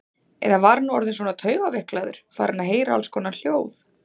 Eða var hann orðinn svona taugaveiklaður, farinn að heyra allskonar hljóð?